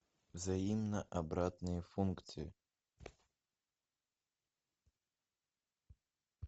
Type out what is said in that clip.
взаимно обратные функции